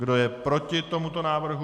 Kdo je proti tomuto návrhu?